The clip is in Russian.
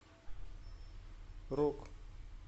рок